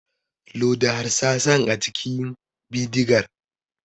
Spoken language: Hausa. Loda harsasan a cikin bidigar.